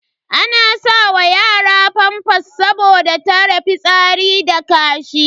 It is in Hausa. Ana sa wa yara famfas saboda tare fitsari da kashi.